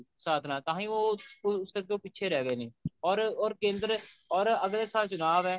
ਸਾਥ ਨਾਲ ਤਾਹੀਂ ਉਹ ਕਰਕੇ ਪਿੱਛੇ ਰਹਿ ਗਏ ਨੇ or ਕੇਂਦਰ or ਅੱਗਲੇ ਸਾਲ ਚੁਣਾਵ ਐ